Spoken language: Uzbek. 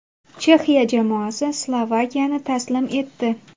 Chexiya jamoasi Slovakiyani taslim etdi.